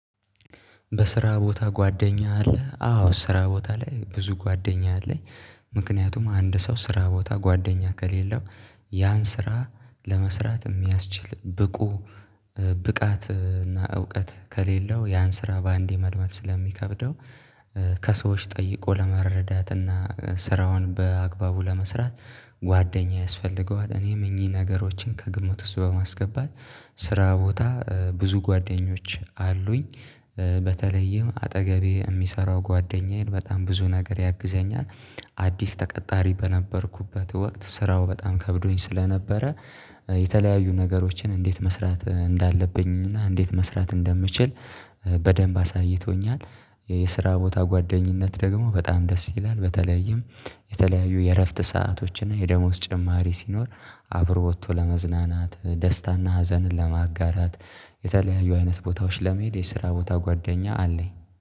በስራ ቦታ ጓደኛ አለ አዎ ስራ ቦታ ላይ ብዙ ጓደኛ አለኝ። ምክንያቱም አንድ ሰው ስራ ቦታ ጓደኛ ከሌለው። ያን ስራ ለመስራት የሚያስችል ብቁ ብቃት እና እውቀት ከሌለው ያን ስራ በአንዴ መልመድ ስለሚከብደው። ከሰዎች ጠይቆ ለመረዳት እና ስራውን በአግባቡ ለመስራት ጓደኛ ያስፈልገዋል። እኔም እኚህ ነገሮችን ከግምት ውስጥ በማስገባት ስራ ቦታ ብዙ ጓደኞች አሉኝ። በተለይም አጠገቤ የሚሰራው ጓደኛዬን በጣም ብዙ ነገር ያግዘኛል። አዲስ ተቀጣሪ በነበርኩበት ወቅት ስራው በጣም ከብዶኝ ስለነበረ። የተለያዩ ነገሮችን እንዴት መስራት እንዳለብኝና እንዴት መስራት እንደምችል በደንብ አሳይቶኛል። የስራ ቦታ ጓደኝነት ደግሞ በጣም ደስ ይላል። በተለያየም የተለያዩ የእረፍት ሰአቶችና የደሞዝ ጭማሪ ሲኖር አብሮ ወጥቶ ለመዝናናት ደስታና ሀዘንን ለማጋራት። የተለያዩ አይነት ቦታዎች ለመሄድ የስራ ቦታ ጓደኛ አለኝ።